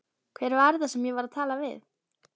Hver var þetta sem ég var að tala við?